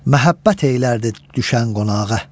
Məhəbbət eylərdi düşən qonağa.